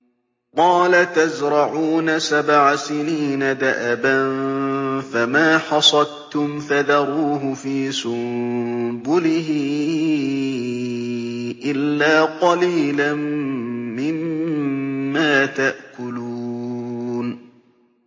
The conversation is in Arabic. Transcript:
قَالَ تَزْرَعُونَ سَبْعَ سِنِينَ دَأَبًا فَمَا حَصَدتُّمْ فَذَرُوهُ فِي سُنبُلِهِ إِلَّا قَلِيلًا مِّمَّا تَأْكُلُونَ